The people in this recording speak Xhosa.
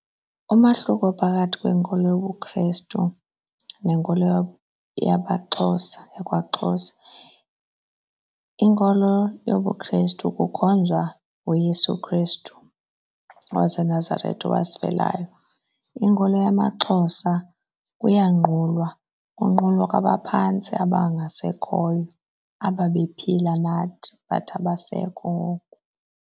Umahluko phakathi kwenkolo yobuKhrestu nenkolo yamaXhosa yakwaXhosa, inkolo yobuKhrestu kukhonzwa uYesu Khrestu waseNazaretha owasifelayo. Inkolo yamaXhosa kuyanqulwa, kunqulwa kwabaphantsi abangasekhoyo ababephila nathi but abasekho ngoku.